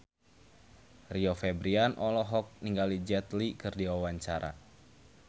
Rio Febrian olohok ningali Jet Li keur diwawancara